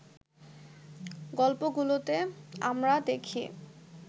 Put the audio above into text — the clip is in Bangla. গল্পগুলোতে আমরা দেখি